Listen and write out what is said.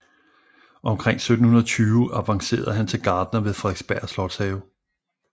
Omkring 1720 avancerede han til gartner ved Frederiksberg Slotshave